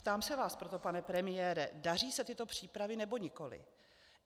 Ptám se vás proto, pane premiére: Daří se tyto přípravy, nebo nikoliv?